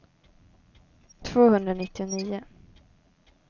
tvåhundranittionio